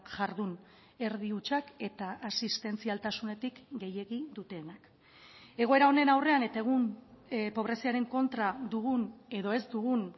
jardun erdi hutsak eta asistentzialtasunetik gehiegi dutenak egoera honen aurrean eta egun pobreziaren kontra dugun edo ez dugun